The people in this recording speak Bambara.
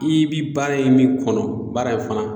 I bi baara in min kɔnɔ baara in fana